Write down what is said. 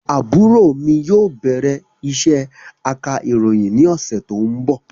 Àbúrò mi yóò bẹ̀rẹ̀ isé aka ìròyìn ni ọ̀sẹ̀ tó ń bọ̀